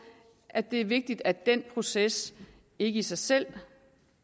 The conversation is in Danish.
at det er vigtigt at den proces ikke i sig selv